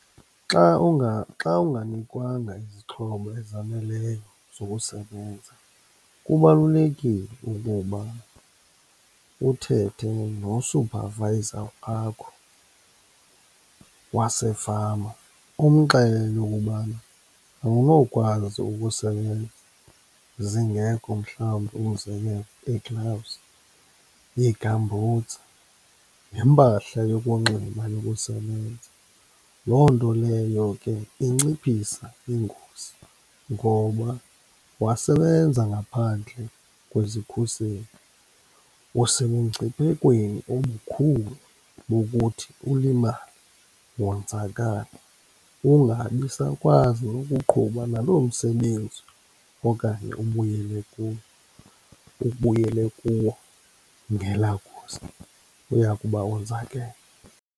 Xa , xa unganikwanga izixhobo ezaneleyo zokusebenza kubalulekile ukuba uthethe no-supervisor wakho wasefama, umxelele ukubana awunokwazi ukusebenza zingekho mhlawumbi, umzekelo, ii-gloves, ii-gumboots, nempahla yokunxiba yokusebenza. Loo nto leyo ke inciphisa ingozi, ngoba wasebenza ngaphandle kwezikhuseli usemngciphekweni omkhulu wokuthi ulimale wonzakale, ungabi sakwazi ukuqhuba naloo msebenzi okanye ubuyele kuwo, ubuyele kuwo. Ngelaa ngozi uyakuba wonzakele.